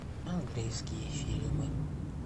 английские фильмы